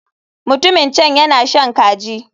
Mutumin can yana shan kaji.